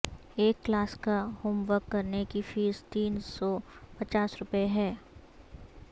ایک کلاس کا homework کرنے کی فیس تین سو پچاس روپے ہے